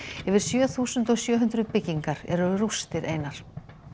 yfir sjö þúsund sjö hundruð byggingar eru rústir einar